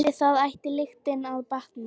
Við það ætti lyktin að batna.